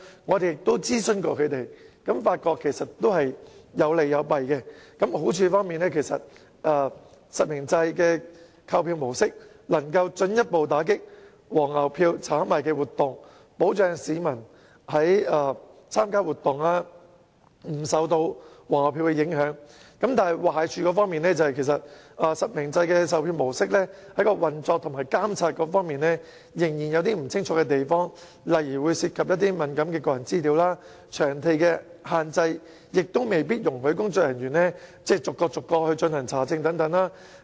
我們也曾諮詢他們，發現其實實名制有利亦有弊，好處是實名制的購票模式能夠進一步打擊"黃牛票"的炒賣活動，保障市民參加活動不會受到"黃牛票"影響；但壞處是實名制售票模式在運作和監察方面仍然有不清晰之處，例如會涉及敏感的個人資料、場地限制未必容許工作人員逐一查證等。